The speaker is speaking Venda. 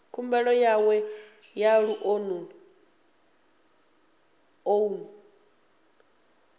khumbelo yawe ya lounu ḽoan